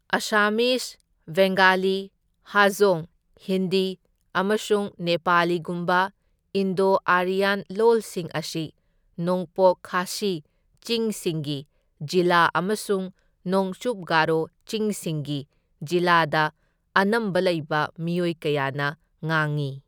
ꯑꯁꯥꯃꯤꯖ, ꯕꯦꯡꯒꯥꯂꯤ, ꯍꯖꯣꯡ, ꯍꯤꯟꯗꯤ ꯑꯃꯁꯨꯡ ꯅꯦꯄꯥꯂꯤꯒꯨꯝꯕ Indo Aryan ꯂꯣꯜꯁꯤꯡ ꯑꯁꯤ ꯅꯣꯡꯄꯣꯛ ꯈꯥꯁꯤ ꯆꯤꯡꯁꯤꯡꯒꯤ ꯖꯤꯂꯥ ꯑꯃꯁꯨꯡ ꯅꯣꯆꯨꯞ ꯒꯔꯣ ꯆꯤꯡꯁꯤꯡꯒꯤ ꯖꯤꯂꯥꯗ ꯑꯅꯝꯕ ꯂꯩꯕ ꯃꯤꯑꯣꯏ ꯀꯌꯥꯅ ꯉꯥꯡꯏ꯫